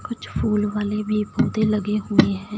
कुछ फूल वाले भी पौधे लगे हुए हैं।